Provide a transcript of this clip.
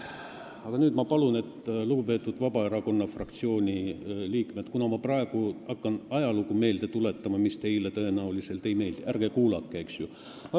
Aga nüüd ma palun lugupeetud Vabaerakonna fraktsiooni liikmeid, et kuna ma praegu hakkan ajalugu meelde tuletama, mis teile tõenäoliselt ei meeldi, siis ärge kuulake, eks ju.